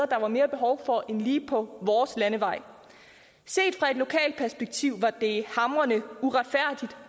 der var mere behov for det end lige på vores landevej set fra et lokalt perspektiv var det hamrende uretfærdigt